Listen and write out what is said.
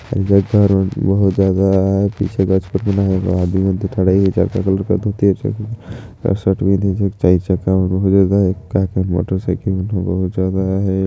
ए जगह रो बहुत ज्यादा आहे पीछे गच कूट मन आहे का का मोटर साइकल मन ह बहुत ज्यादा आहे।